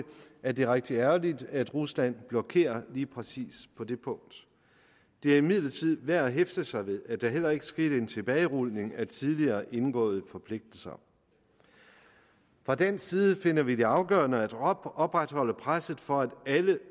at det er rigtig ærgerligt at rusland blokerer lige præcis på det punkt det er imidlertid værd at hæfte sig ved at der heller ikke skete en tilbagerulning af tidligere indgåede forpligtelser fra dansk side finder vi det afgørende at opretholde presset for at alle